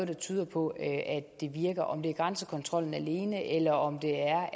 der tyder på at det virker om det er grænsekontrollen alene eller om det er